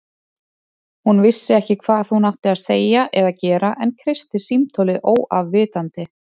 Hún vissi ekki hvað hún átti að segja eða gera en kreisti símtólið óafvitandi.